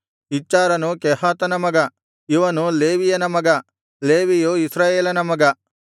ಇಚ್ಹಾರನು ಕೆಹಾತನ ಮಗ ಇವನು ಲೇವಿಯನ ಮಗ ಲೇವಿಯು ಇಸ್ರಾಯೇಲನ ಮಗ